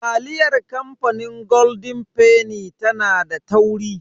Taliyar kamfanin golden fenny tana da tauri.